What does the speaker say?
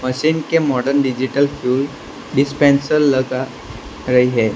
Machine के modern digital fuel dispenser लगा रहे है।